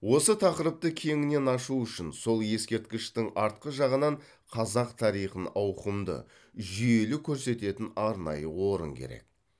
осы тақырыпты кеңінен ашу үшін сол ескерткіштің артқы жағынан қазақ тарихын ауқымды жүйелі көрсететін арнайы орын керек